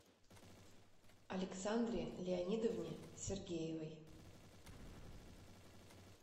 александре леонидовне сергеевой